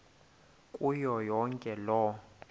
kuyo yonke loo